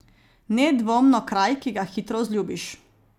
Nedvomno kraj, ki ga hitro vzljubiš.